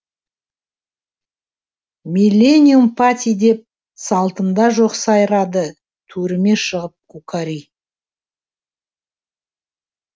миллениум пати деп салтымда жоқ сайрадытөріме шығып кукари